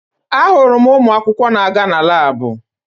Ahụrụ m ụmụakwụkwọ na-aga na laabụ